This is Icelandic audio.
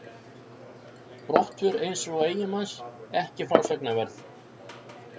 Brottför eins eiginmanns ekki frásagnarverð.